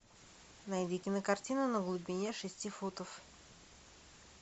найди кинокартину на глубине шести футов